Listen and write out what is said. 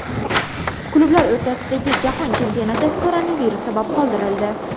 Klublar o‘rtasidagi Jahon chempionati koronavirus sabab qoldirildi.